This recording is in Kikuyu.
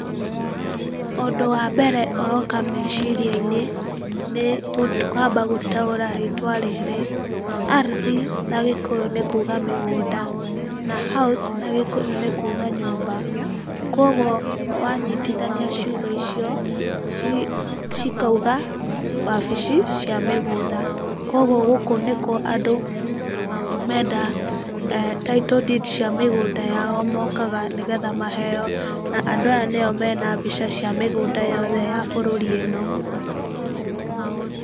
Ũndũ wa mbere ũroka meciria-inĩ, nĩ kwamba gũtaũra rĩtwa rĩrĩ, Ardhi na gĩkũyũ nĩ kuuga mĩgũnda, na house na gĩkũyũ nĩ kuuga nyũmba. Koguo wanyitithania ciugo icio, cikauga 'wabici cia mĩgũnda'. Koguo gũkũ nĩkuo andũ menda title deed cia mĩgũnda yao mokaga, nĩgetha maheyo, na andũ aya nĩo mena mbica cia mĩgũnda yothe bũrũri ĩ no.